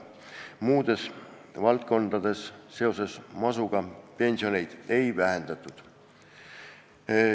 Muudes valdkondades masu tõttu pensioneid ei vähendatud.